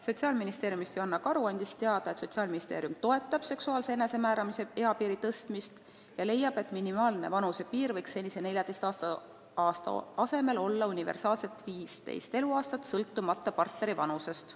Sotsiaalministeeriumist Joanna Karu andis teada, et Sotsiaalministeerium toetab seksuaalse enesemääramise eapiiri tõstmist ja leiab, et minimaalne vanusepiir võiks senise 14 aasta asemel olla universaalselt 15 eluaastat sõltumata partneri vanusest.